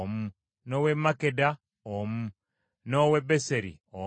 n’ow’e Makkeda omu, n’ow’e Beseri omu,